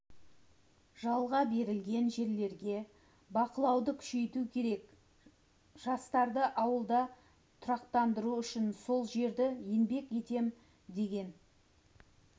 жалға берілген жерлерге бақылауды күшейту керек жастарды ауылда тұрақтандыру үшін сол жерді еңбек етем деген